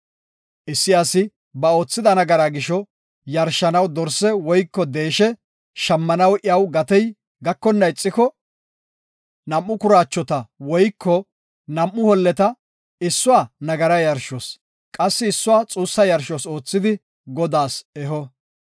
Issi asi ba oothida nagaraa gisho yarshanaw dorse woyko deeshe shammanaw iyaw gatey gakonna ixiko nam7u kuraachota woyko nam7u holleta, issuwa nagara yarshos qassi issuwa xuussa yarshos oothidi Godaas eho.